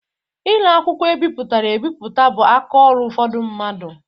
Ire akwụkwọ e bipụtara ebipụta bụ aka ọrụ ụfọdụ mmadụ.